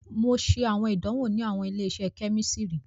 Mo ṣe awọn idanwo ni awọn ile-iṣẹ kemistri.